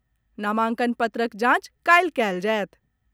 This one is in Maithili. नामांकन पत्रक जांच काल्हि कयल जायत।